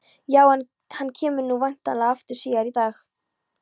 Já, en hann kemur nú væntanlega aftur síðar í dag.